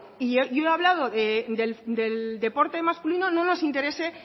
y yo he hablado del deporte masculino no nos interese